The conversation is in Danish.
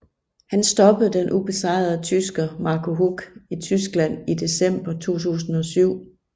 Han stoppede den ubesejrede tysker Marco Huck i Tyskland i december 2007